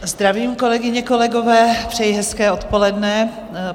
Zdravím, kolegyně, kolegové, přeji hezké odpoledne.